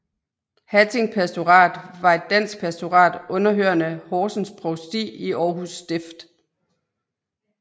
Hatting Pastorat var et dansk pastorat underhørende Horsens Provsti i Aarhus Stift